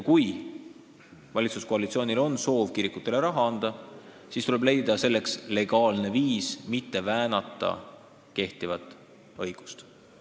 Kui valitsuskoalitsioonil on soov kirikutele raha anda, siis tuleb leida selleks legaalne viis, mitte väänata kehtivat õigust.